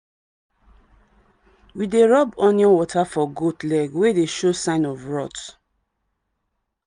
we dey rub onion water for goat leg wey dey show sign of rot.